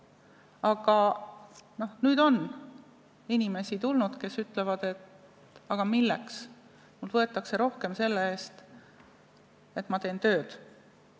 Aga nüüd on inimesi, kes ütlevad, et aga milleks, mult võetakse rohkem selle eest, et ma teen tööd.